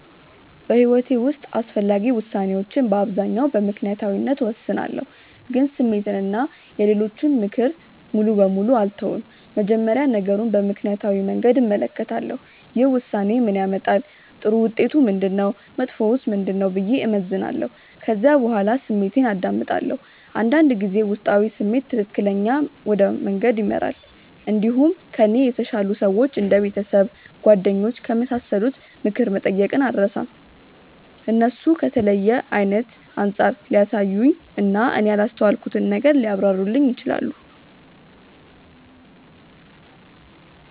በሕይወቴ ውስጥ አስፈላጊ ውሳኔዎችን በአብዛኛው በምክንያታዊነት እወስናለሁ፣ ግን ስሜትን እና የሌሎችን ምክር ሙሉ በሙሉ አልተውም። መጀመሪያ ነገሩን በምክንያታዊ መንገድ እመለከታለሁ። ይህ ውሳኔ ምን ያመጣል? ጥሩ ውጤቱ ምንድነው? መጥፎውስ ምንድነው? ብዬ እመዝናለሁ። ከዚያ በኋላ ስሜቴን አዳምጣለሁ። አንዳንድ ጊዜ ውስጣዊ ስሜት ትክክለኛ ወደ መንገድ ይመራል። እንዲሁም ከእኔ የተሻሉ ሰዎች እንደ ቤተሰብ፣ ጓደኞች ከመሳሰሉት ምክር መጠየቅን አልርሳም። እነሱ ከተለየ አይነት አንጻር ሊያሳዩኝ እና እኔ ያላስተዋልኩትን ነገር ሊያብራሩልኝ ይችላሉ።